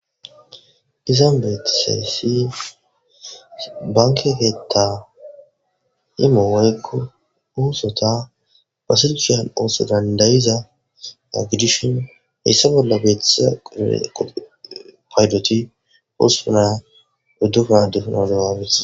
Izan beetisessi banke keta i mowaykko uusota pasilshiyan ooso dandayiza a gidishin hessa bolla beethisa qude payloti hospuna uddupa duhunodowawees.